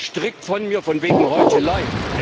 Ich weise das strikt von mir, von wegen Heuchelei!